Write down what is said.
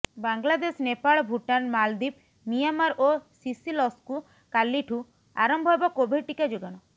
ବାଂଲାଦେଶ ନେପାଳ ଭୁଟାନ ମାଳଦ୍ୱୀପ ମିଆଁମାର ଓ ସିସଲସକୁ କାଲିଠୁ ଆରମ୍ଭ ହେବ କୋଭିଡ ଟିକା ଯୋଗାଣ